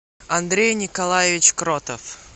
андрей николаевич кротов